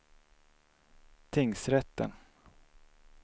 tingsrätten